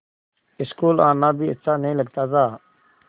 school आना भी अच्छा नहीं लगता था